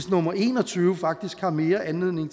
nummer en og tyve faktisk har mere anledning